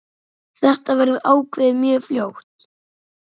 Þetta verður ákveðið mjög fljótt.